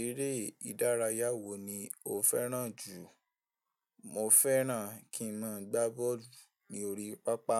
Eré ìdárayá wo ni o fẹ́ràn jù? Mo fẹ́ràn kí n máa gbá bọ́ọ̀lù. Ni òrí pápá.